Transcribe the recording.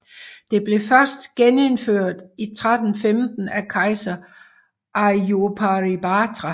Det blev først genindført i 1315 af kejser Ayurparibatra